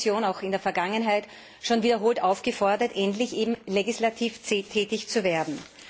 Es hat die Kommission auch in der Vergangenheit schon wiederholt aufgefordert, endlich legislativ tätig zu werden.